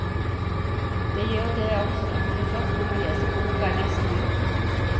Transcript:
Det gjør det også, men først må man lese boka nesten ut.